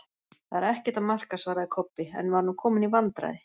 Það er ekkert að marka, svaraði Kobbi, en var nú kominn í vandræði.